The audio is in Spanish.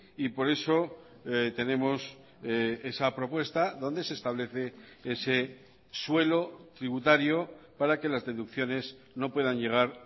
y por eso tenemos esa propuesta donde se establece ese suelo tributario para que las deducciones no puedan llegar